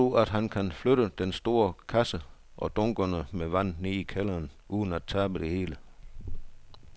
Tror du, at han kan flytte den store kasse og dunkene med vand ned i kælderen uden at tabe det hele?